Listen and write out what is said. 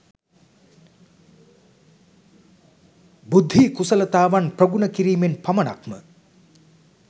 බුද්ධි කුසලතාවන් ප්‍රගුණ කිරීමෙන් පමණක්ම